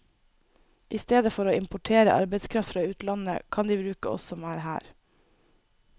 I stedet for å importere arbeidskraft fra utlandet, kan de bruke oss som er her.